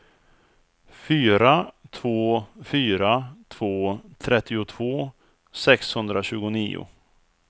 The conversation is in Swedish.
fyra två fyra två trettiotvå sexhundratjugonio